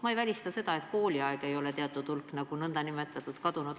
Ma ei välista seda, et tavaolukorras ei ole teatud hulk lapsi n-ö kadunud.